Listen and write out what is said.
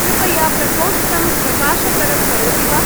कृपया प्रकोष्टं प्रकाशतरं करोति वा?